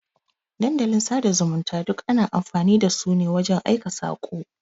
Dandalin sada zumunta duk ana amfani dasu ne wajan aika sako.